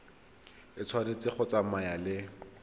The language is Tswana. e tshwanetse go tsamaya le